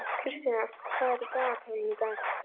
Kristian, hvað er í dagatalinu í dag?